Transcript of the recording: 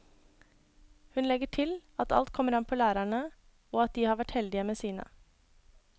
Hun legger til at alt kommer an på lærerne, og at de har vært heldige med sine.